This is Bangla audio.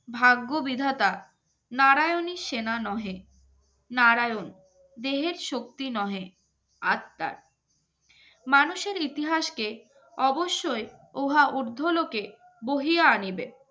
ভাগ্য বিধাতা নারায়নী সেনা নহে নারায়ণ দেহের শক্তি নহে আত্মার মানুষের ইতিহাসকে অবশ্যই উহা উর্ধ্বলোকে বহিয়া নেবে